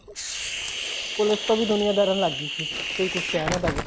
police ਤੋਂ ਵੀ ਦੁਨੀਆਂ ਡਰਨ ਲੱਗ ਗਈ ਸੀ ਕੋਈ ਕੁੱਛ ਕਹਿ ਨਾ ਦਵੇ